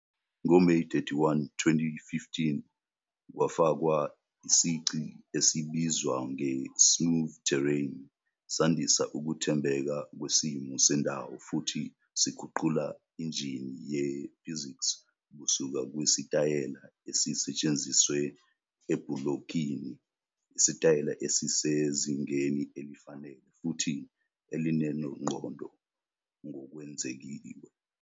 NgoMeyi 31, 2015, kwafakwa isici esibizwa nge-'Smooth Terrain ', sandisa ukuthembeka kwesimo sendawo futhi siguqula injini ye-physics kusuka kwisitayela esisetshenziselwe ebhulokini isitayela esisezingeni elifanele futhi elinengqondo ngokwengeziwe.